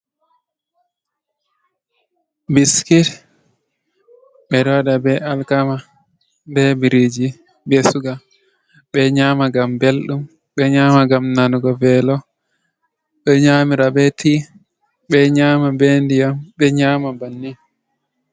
Biskit ɓe ɗo waɗa be alkama be biriji, be suga ɓe nyama, ngam ɓeldum, ɓe nyama ngam nanugo velo, ɓe nyamira be ti, ɓe nyama be ndiyam, ɓe nyama bannin.